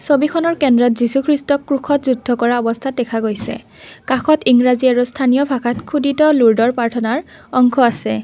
ছবিখনৰ কেন্দ্ৰত যীশুখ্ৰীষ্টক ক্ৰুষত যুদ্ধ কৰা অৱস্থাত দেখা গৈছে কাষত ইংৰাজী আৰু স্থানীয় ভাষাত খোদিত ল'দৰ প্ৰাৰ্থনাৰ অংশ আছে।